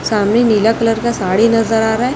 सामने नीला कलर का साड़ी नजर आ रहा--